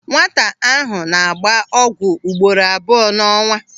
Nwata ahụ na-agba ọgwụ ugboro abụọ n'ọnwa.